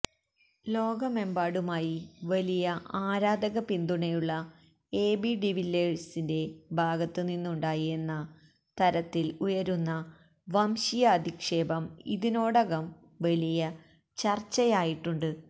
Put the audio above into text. ലോകമെമ്പാടുമായി വലിയ ആരാധക പിന്തുണയുള്ള എബി ഡിവില്ലിയേഴ്സിന്റെ ഭാഗത്ത് നിന്നുണ്ടായി എന്ന തരത്തില് ഉയരുന്ന വംശീയാധിക്ഷേപം ഇതിനോടകം വലിയ ചര്ച്ചയായിട്ടുണ്ട്